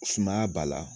Sumaya b'a la